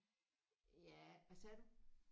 Ja hvad sagde du?